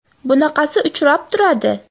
Bunaqasi uchrab turadi.